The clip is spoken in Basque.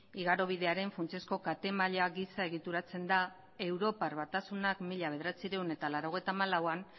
igarobidearen funtsezko kate maila gisa egituratzen da europar batasunak mila bederatziehun eta laurogeita hamalauan